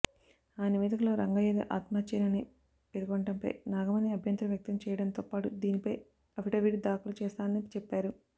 ఆ నివేదికలో రంగయ్యది ఆత్మహత్యేనని పేర్కొనడంపై నాగమణి అభ్యంతరం వ్యక్తం చేయడంతోపాటు దీనిపై అఫిడవిట్ దాఖలు చేస్తానని చెప్పారు